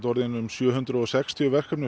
orðin um sjö hundruð og sextíu verkefni